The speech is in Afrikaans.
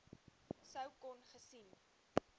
sou kon gesien